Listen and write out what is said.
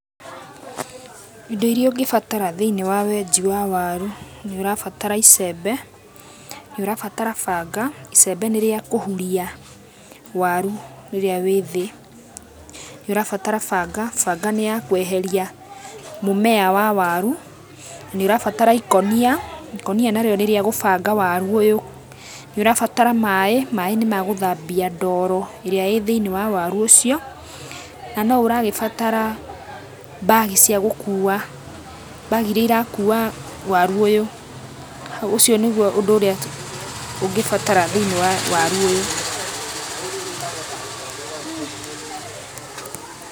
Indo iria ũngĩbatara thĩiniĩ wa wenji wa waru, nĩ ũrabatara icembe, nĩ ũrabatara banga. Icembe nĩ rĩa kũhuria waru ũrĩa wĩ thĩ. Nĩ ũrabatara banga, banga ni ya kweheria mũmea wa waru, na nĩ ũrabatara ikonia, ikonia nario nĩ rĩa gũbanga waru ũyũ. Nĩ ũrabatara maĩ, maĩ ni magũthambia ndoro ĩrĩa ĩthĩinĩ wa waru ũcio. Na no ũragĩbatara mbagi cia gũkua, mbagi iria irakua waru ũyũ. Ũcio nĩgũo ũndũ ũrĩa ũngĩbatara thĩinĩ wa waru ũyũ.